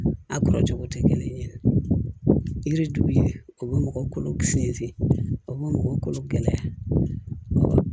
A kɔrɔ cogo tɛ kelen ye yiri turu yen o bɛ mɔgɔ kolo fere o bɛ mɔgɔ kolo gɛlɛya